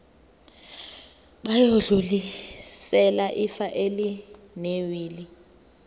bayodlulisela ifa elinewili